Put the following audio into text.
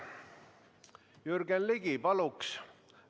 Jürgen Ligi, palun!